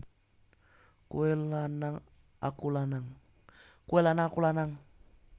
Kowe lanang aku lanang